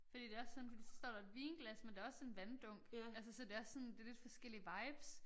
Fordi det også sådan fordi så står der et vinglas men der også en vanddunk altså så det også sådan det lidt forskellige vibes